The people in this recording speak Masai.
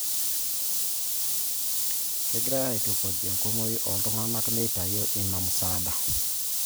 Kegirai aitukuj enkumoi oltung'anak meitayu ina musaada